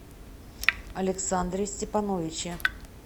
александре степановиче